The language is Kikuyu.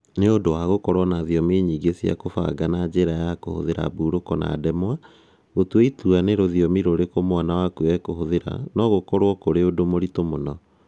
Nĩ ũndũ wa gũkorũo na thiomi nyingĩ cia kũbanga na njĩra ya kũhũthĩra mburoko na ndemwa, gũtua itua nĩ rũthiomi rũrĩkũ mwana waku ekũhũthĩra no gũkorũo kũrĩ ũndũ mũritũ mũno